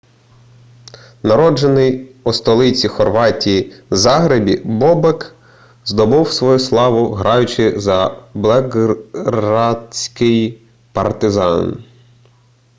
народжений у столиці хорватії загребі бобек здобув свою славу граючи за белградський партизан